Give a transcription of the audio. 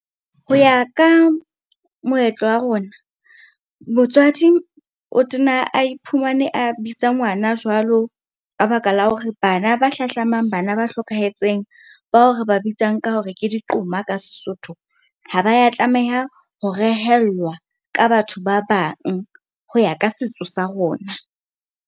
Ho ya ka moetlo wa rona, motswadi o tena a iphumane a bitsa ngwana jwalo ka baka la hore bana ba hlahlamang bana ba hlokahetseng, ba o re ba bitsang ka hore ke di qoma ka sesotho. Ha ba ya tlameha ho rehellwa ka batho ba bang ho ya ka setso sa rona.